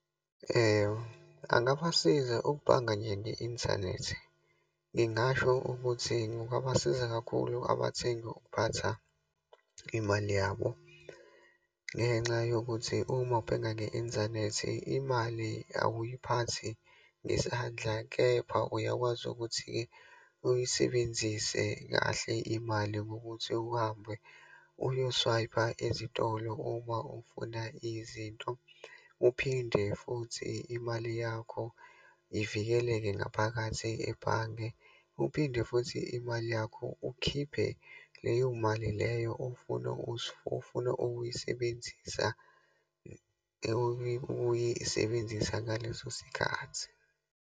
Angabasiza ukubhanga nje nge-inthanethi. Ngingasho ukuthi kungabasiza kakhulu abathengi ukuphatha imali yabo ngenxa yokuthi uma ubhenga nge-inthanethi, imali awuphathi ngesandla, kepha uyakwazi ukuthi-ke uyisebenzise kahle imali ngokuthi uhambe uyoswayipha ezitolo uma ufuna izinto, uphinde futhi imali yakho ivikeleke ngaphakathi ebhange. Uphinde futhi imali yakho ukhiphe leyo mali leyo ofuna ofuna ukuyisebenzisa ukuyisebenzisa ngaleso sikhathi.